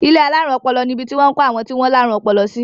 Ilé alárùn ọpọlọ nibi tí wọ́n ń kó àwọn tí wọ́n láárùn ọpọlọ sí.